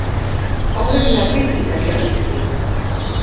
Óvenjulegar byggingar í Öskjuhlíð